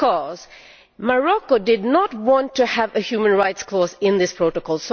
Because Morocco did not want to have a human rights clause in this protocol.